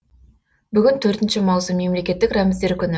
бүгін төртінші маусым мемлекеттік рәміздер күні